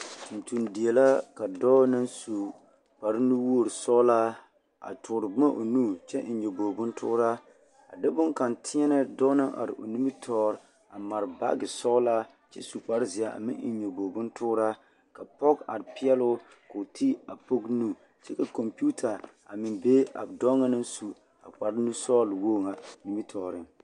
Tontondie la ka dɔɔ na su kparnuwoori sɔɔlaa a tuuri boma o nu kyɛ eŋ nyoboori bontooraa a de boŋkaŋa tēɛ kaŋa na are o nimitɔɔre a mare baaɡe sɔɡelaa kyɛ su kparzeɛ a eŋ nyoboori bontooraa ka pɔɡe are peɛl o ka o te a pɔɡe nu ka kɔmpiita a be a dɔɔ ŋa na su a o kparnuwoori ŋa a are o nimitɔɔreŋ.